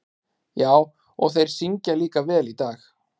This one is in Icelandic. Já, og þeir syngja líka vel í dag.